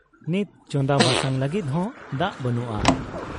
ᱱᱤᱛ ᱪᱚᱸᱫᱟ ᱵᱟᱥᱟᱝ ᱞᱟᱹᱜᱤᱫ ᱦᱚᱸ ᱫᱟᱜ ᱵᱟᱹᱱᱩᱜ ᱟ ᱾